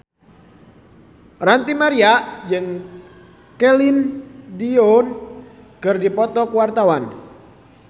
Ranty Maria jeung Celine Dion keur dipoto ku wartawan